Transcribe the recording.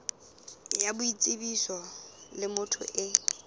ya boitsebiso le motho e